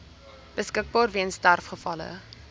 beskikbaar weens sterfgevalle